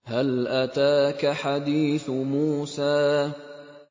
هَلْ أَتَاكَ حَدِيثُ مُوسَىٰ